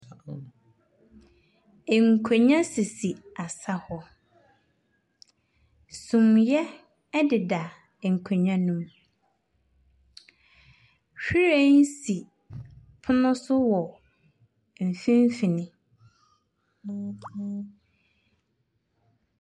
Nkonnwa sisi asa hɔ. Sumiiɛ deda nkonnwa no mu. Hwiren sisi pono so wɔ mfinimfini.